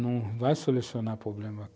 Não vai solucionar o problema.